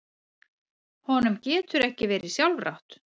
Honum getur ekki verið sjálfrátt.